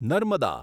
Narmada